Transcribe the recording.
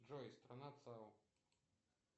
джой страна цао